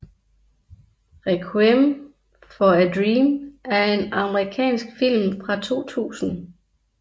Requiem for a Dream er en amerikansk film fra 2000